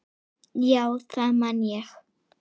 Já, það man ég